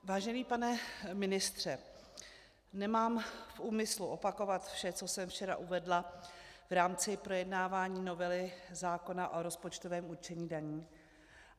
Vážený pane ministře, nemám v úmyslu opakovat vše, co jsem včera uvedla v rámci projednávání novely zákona o rozpočtovém určení daní.